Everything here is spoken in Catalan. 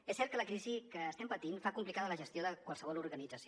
és cert que la crisi que estem patint fa complicada la gestió de qualsevol organització